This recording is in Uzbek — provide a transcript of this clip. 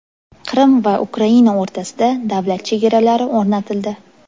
Qrim va Ukraina o‘rtasida davlat chegaralari o‘rnatildi.